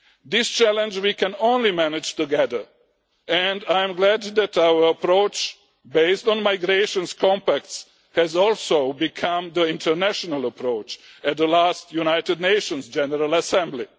This challenge we can only manage together and I am glad that our approach, based on migration compacts, has also become the international approach at the last United Nations General Assembly.